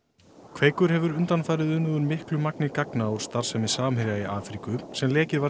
kveikur hefur undanfarið unnið úr miklu magni gagna úr starfsemi Samherja í Afríku sem lekið var